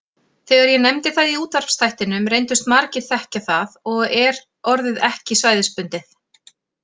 Þegar ég nefndi það í útvarpsþættinum reyndust margir þekkja það og er orðið ekki svæðisbundið.